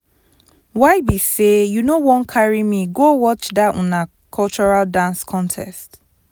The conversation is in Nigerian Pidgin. why be say you no wan carry me go watch that una cultural dance contest